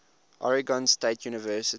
oregon state university